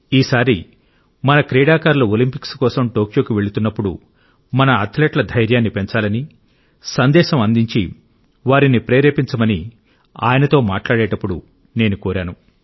ఈసారి మన క్రీడాకారులు ఒలింపిక్స్ కోసం టోక్యోకు వెళుతున్నప్పుడు మన అథ్లెట్ల ధైర్యాన్ని పెంచాలని సందేశం అందించి వారిని ప్రేరేపించమని ఆయనతో మాట్లాడేటప్పుడు నేను కోరాను